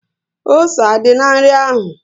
Ose á dí na nri ahụ?